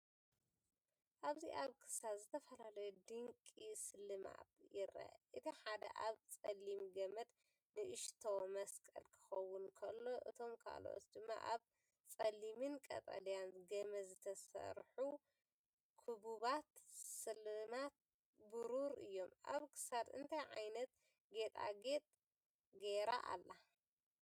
ኣብዚ ኣብ ክሳድ ዝተፈላለየ ድንቂ ስልማት ይርአ። እቲ ሓደ ኣብ ጸሊም ገመድ ንእሽቶ መስቀል ክኸውን ከሎ፡ እቶም ካልኦት ድማ ኣብ ጸሊምን ቀጠልያን ገመድ ዝተሰርሑ ክቡባት ስልማት ብሩር እዮም። ኣብ ክሳድ እንታይ ዓይነት ጌጣጌጥ ገይራ ኣላ?